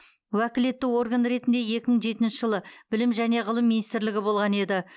уәкілетті орган ретінде екі мың жетінші жылы білім және ғылым министрлігі болған еді